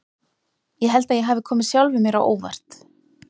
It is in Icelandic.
Ég held að ég hafi komið sjálfum mér á óvart.